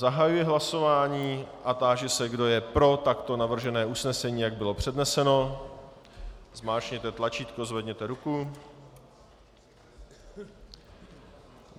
Zahajuji hlasování a táži se, kdo je pro takto navržené usnesení, jak bylo předneseno, zmáčkněte tlačítko, zvedněte ruku.